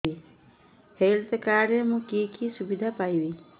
health card ରେ ମୁଁ କି କି ସୁବିଧା ପାଇବି